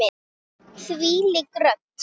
Þvílík rödd!